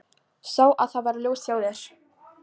Sá að það var ljós hjá þér.